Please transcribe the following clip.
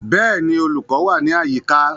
Bẹ́ẹ̀ni, olùkọ́ wà ní àyíká